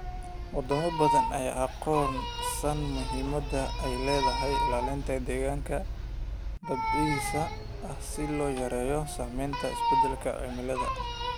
Wadamo badan ayaa aqoonsan muhiimada ay leedahay ilaalinta deegaanka dabiiciga ah si loo yareeyo saameynta isbedelka cimilada.